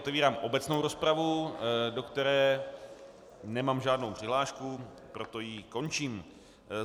Otevírám obecnou rozpravu, do které nemám žádnou přihlášku, proto ji končím.